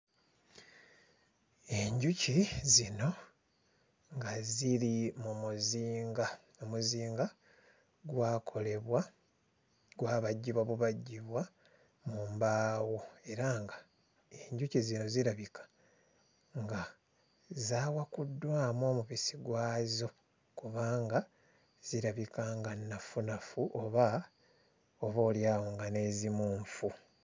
Enjuki zino nga ziri mu muzinga. Omuzinga gwakolebwa gwabajjibwa bubajjibwa mu mbaawo era ng'enjuki zino zirabika nga zaawakuddwamu omubisi gwazo kubanga zirabika nga nnafunafu oba oboolyawo nga n'ezimu nfu.